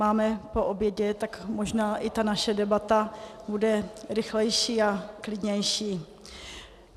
Máme po obědě, tak možná i ta naše debata bude rychlejší a klidnější.